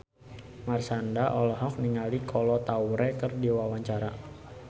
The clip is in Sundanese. Marshanda olohok ningali Kolo Taure keur diwawancara